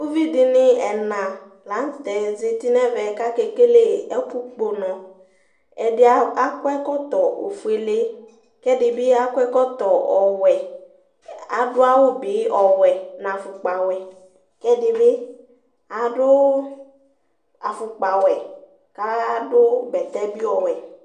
uvidini ɛnɑ ạzɑtinɛmɛ kɑkɛkɛlɛ ɛkukpuno ɛdi ɑkɔ ɛkoto fuɛlɛ kɛdibi ɑkɔ ɛkɔkɔtowɛ ɑdu ɑwubi ɔwɛ kɑdu ɑfukpɑ ɔwɛ kɛdibi ɑduɑfukpɑwɛ kɑdubɛtɛtsi wɛ